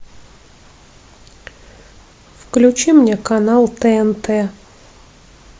включи мне канал тнт